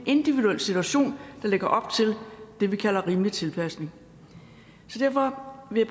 individuel situation der lægger op til det vi kalder rimelig tilpasning derfor vil